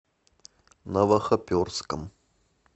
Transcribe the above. новохоперском